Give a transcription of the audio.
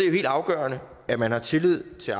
jo helt afgørende at man har tillid til